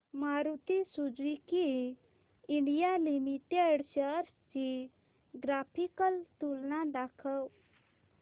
Maruti Suzuki India Limited shares ची graphical तुलना दाखव